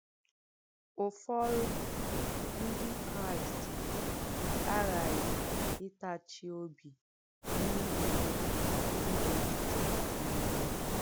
Ụ́fọ̀rụ̀ Ndí Kráìst àghàghì ìtàchì òbì n’ìhì ulè ndí nà-èsìtè n’èzíǹúlọ̀.